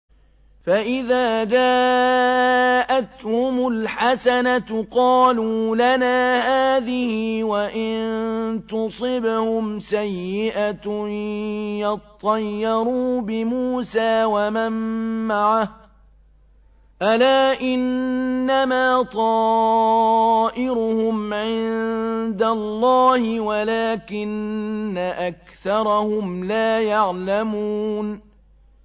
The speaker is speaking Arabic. فَإِذَا جَاءَتْهُمُ الْحَسَنَةُ قَالُوا لَنَا هَٰذِهِ ۖ وَإِن تُصِبْهُمْ سَيِّئَةٌ يَطَّيَّرُوا بِمُوسَىٰ وَمَن مَّعَهُ ۗ أَلَا إِنَّمَا طَائِرُهُمْ عِندَ اللَّهِ وَلَٰكِنَّ أَكْثَرَهُمْ لَا يَعْلَمُونَ